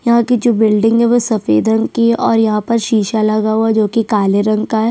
यहाँ की जो बिल्डिंग है वो सफेद रंग की है और यहाँ पर शीशा लगा है जो की काले रंग का है।